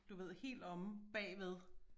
Du ved helt omme bagved